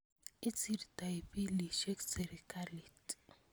Isirtoi pilisyek sirikalit